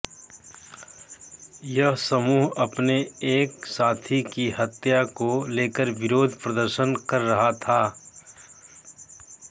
यह समूह अपने एक साथी की हत्या को लेकर विरोध प्रदर्शन कर रहा था